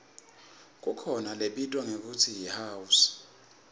kukhona lebitwa ngekutsi yihouse